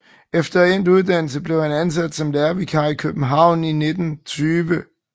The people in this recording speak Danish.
Efter endt uddannelse blev han ansat som lærervikar i København i 1920